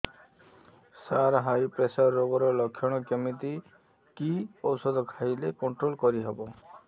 ସାର high pressure ରୋଗର ଲଖଣ କେମିତି କି ଓଷଧ ଖାଇଲେ କଂଟ୍ରୋଲ କରିହେବ